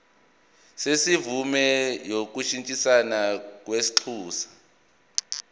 semvume yokushintshisana kwinxusa